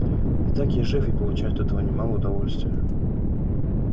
итак я жив и получаю от этого немалое удовольствия